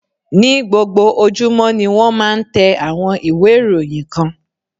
Ní gbogbo ojúmọ́ ni wón máa ń tẹ àwọn ìwé ìròyìn kan.